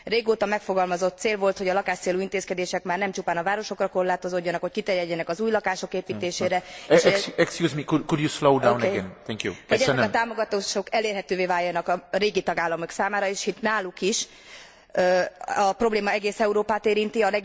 Régóta megfogalmazott cél volt, hogy a lakáscélú intézkedések már nem csupán a városokra korlátozódjanak, hogy kiterjedjenek az új lakások építésére, hogy ezek a támogatások elérhetővé váljanak a régi tagállamok számára is, hisz a probléma egész Európát érinti.